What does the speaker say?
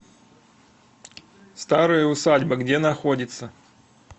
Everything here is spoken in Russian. старая усадьба где находится